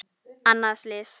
Annað slys.